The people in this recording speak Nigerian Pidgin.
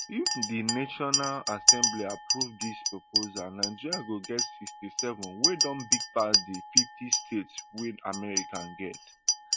if di national assembly approve dis proposal nigeria go get sixty-seven wey don big pass di fifty states wey america get